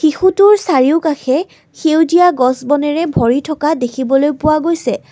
শিশুটোৰ চাৰিওকাষে সেউজীয়া গছ বনেৰে ভৰি থকা দেখিবলৈ পোৱা গৈছে।